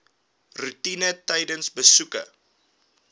roetine tydens besoeke